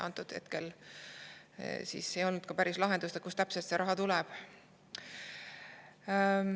Antud hetkel ei olnud päris lahendust, kust täpselt see raha tuleb.